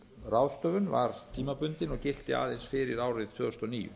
ráðstöfun var tímabundin og gilti aðeins fyrir árið tvö þúsund og níu